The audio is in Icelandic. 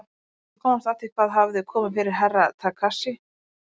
Að komast að því hvað hafði komið fyrir Herra Takashi.